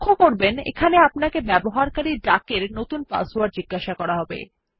লক্ষ্য করবেন এখানে আপনাকে ব্যবহারকারী ডাক এর নতুন পাসওয়ার্ড জিজ্ঞাসা করা হবে